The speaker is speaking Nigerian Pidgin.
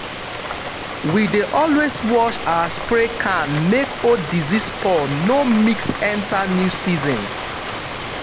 we dey always wash our spray can make old disease spore no mix enter new season.